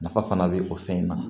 Nafa fana bɛ o fɛn in na